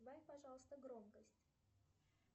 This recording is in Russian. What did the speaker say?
убавь пожалуйста громкость